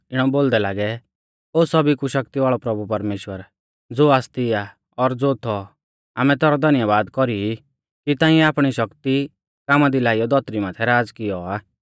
इणौ बोलदै लागै ओ सौभी कु शक्ति वाल़ौ प्रभु परमेश्‍वर ज़ो आसती आ और ज़ो थौ आमै तैरौ धन्यबाद कौरी ई कि ताइंऐ आपणी शक्ति कामा दी लाइयौ धौतरी माथै राज़ कियौ आ